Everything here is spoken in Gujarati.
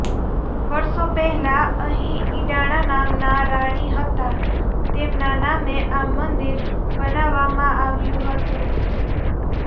વર્ષો પહેલાં અહીં ઇડાણા નામનાં રાણી હતાં તેમના નામે આ મંદિર બનાવવામાં આવ્યું હતું